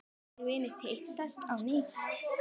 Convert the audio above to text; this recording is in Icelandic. Gamlir vinir hittast á ný.